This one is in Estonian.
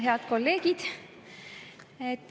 Head kolleegid!